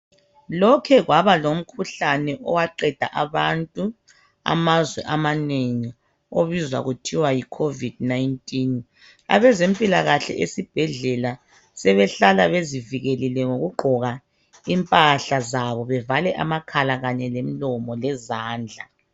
Lokhe kwabalomkhuhlane owaqeda abantu amazwe amanengi obizwa kuthiwa yi COVID19. Abezempilakahle esibhedlela sebehlala bezivikelile ngokugqoka impahla zabo bevale amakhala kanye lemlomo lezandla.